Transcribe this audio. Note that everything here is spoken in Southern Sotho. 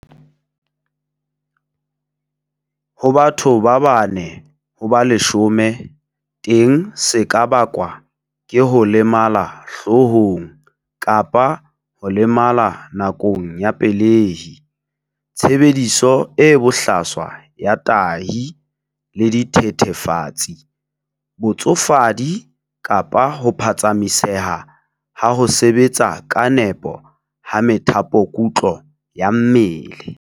Ho batho ba bane ho ba leshome teng se ka bakwa ke ho lemala hloohong kapa ho lemala nakong ya pelehi, tshebediso e bohlaswa ya tahi le dithethefatsi, botsofadi kapa ho phatsamiseha ha ho sebetsa ka nepo ha methapokutlo ya mmele.